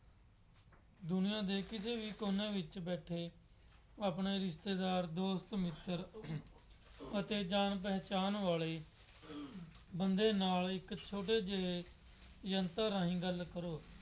ਦੁਨੀਆ ਦੇ ਕਿਸੇ ਵੀ ਕੋਨੇ ਵਿੱਚ ਬੈਠੇ ਆਪਣੇ ਰਿਸ਼ਤੇਦਾਰ, ਦੋਸਤ ਮਿੱਤਰ ਅਤੇ ਅਤੇ ਜਾਣ ਪਹਿਚਾਣ ਵਾਲੇ ਬੰਦੇ ਨਾਲ ਇੱਕ ਛੋਟੇ ਜਿਹੇ ਯੰਤਰ ਰਾਹੀ ਗੱਲ ਕਰੋ।